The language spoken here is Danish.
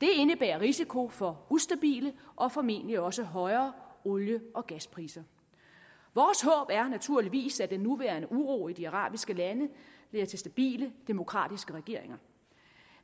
det indebærer risiko for ustabile og formentlig også højere olie og gaspriser vores håb er naturligvis at den nuværende uro i de arabiske lande bliver til stabile demokratiske regeringer